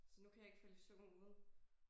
Så nu kan jeg ikke falde i søvn uden